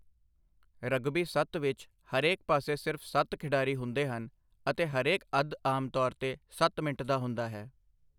Rugby ਸੱਤ ਵਿੱਚ, ਹਰੇਕ ਪਾਸੇ ਸਿਰਫ਼ ਸੱਤ ਖਿਡਾਰੀ ਹੁੰਦੇ ਹਨ, ਅਤੇ ਹਰੇਕ ਅੱਧ ਆਮ ਤੌਰ ਉੱਤੇ ਸੱਤ ਮਿੰਟ ਦਾ ਹੁੰਦਾ ਹੈ।